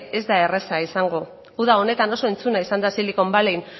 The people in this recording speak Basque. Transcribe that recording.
ez da erreza izango uda honetan oso entzuna izan da silicon valley